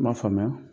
N m'a faamuya